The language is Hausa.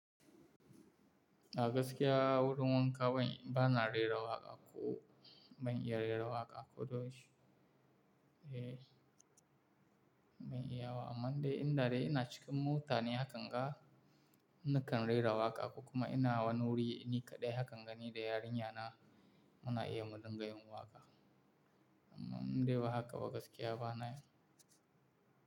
A gaskiya wurin wanka ban, bana rera waƙa ko ban iya rera waƙa koda yaushe ban iya wa. Amma dai in dare ina cikin mota ne hakan ga nakan rera waƙa kuma ina wani wuri nikaɗai hakan ga ni da yarinya na muna iya mu dinga yin waƙa. Amma in dai ba haka ba gaskiya bana ya.